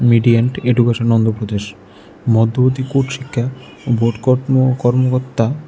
মিডিয়ান্ট education Andhra Pradesh মধ্যবর্তী court শিক্ষা ও বোটকোটও কর্মকত্তা।